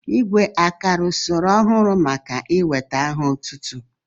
Igwé àkara usoro ọhụrụ maka inwéta aha otútú?